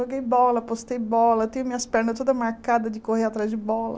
Joguei bola, postei bola, tenho minhas pernas todas marcadas de correr atrás de bola.